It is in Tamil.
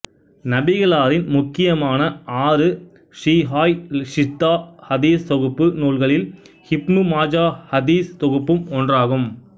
நபிகளாரின் முக்கியமான ஆறு ஸிஹாஹ் ஸித்தா ஹதீஸ் தொகுப்பு நூல்களில் இப்னு மாஜா ஹதீஸ் தொகுப்பும் ஒன்றாகும்